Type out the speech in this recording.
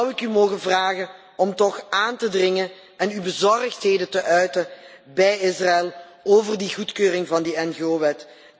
Zou ik u mogen vragen om toch aan te dringen en uw bezorgdheid te uiten bij Israël over de goedkeuring van die ngo wet.